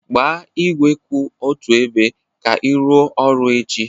Gbaa igwe kwụ otu ebe ka ị rụọ ọrụ echi